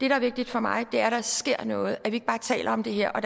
er vigtigt for mig er at der sker noget så vi ikke bare taler om det her og